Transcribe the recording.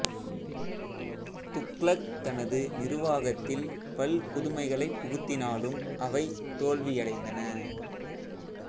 துக்ளக் தனது நிருவாகத்தில் பல் புதுமைகளைப் புகுத்தினாலும் அவை தோல்வியடைந்தன